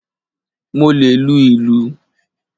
Mo le lu ìlù.